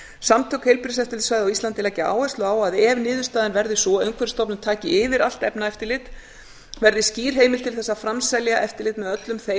samtök heilbrigðiseftirlitssvæða á íslandi leggja áherslu á að ef niðurstaðan verði sú að umhverfisstofnun taki yfir allt efnaeftirlit verði skýr heimild til að framselja eftirlit með öllum þeim